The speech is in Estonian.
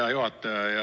Hea juhataja!